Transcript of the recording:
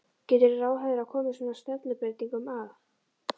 Getur ráðherra komið svona stefnubreytingum að?